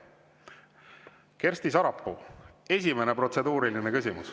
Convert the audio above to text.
Kersti Sarapuu, esimene protseduuriline küsimus.